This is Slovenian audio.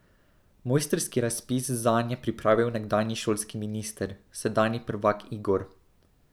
Mojstrski razpis zanj je pripravil nekdanji šolski minister, sedanji prvak Igor.